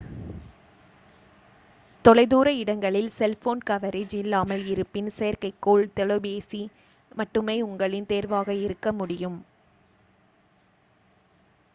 தொலைதூர இடங்களில் cellphone coverage இல்லாமல் இருப்பின் செயற்கைக்கோள் தொலைபேசி மட்டுமே உங்களின் தேர்வாக இருக்க முடியும்